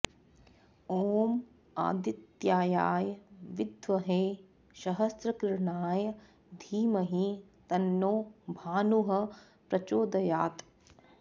ॐ आदित्याय विद्महे सहस्रकिरणाय धीमहि तन्नो भानुः प्रचोदयात्